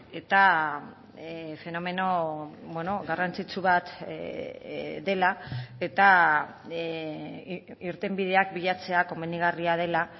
eta fenomeno garrantzitsu bat dela eta irtenbideak bilatzea komenigarria dela